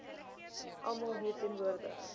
almal hier teenwoordig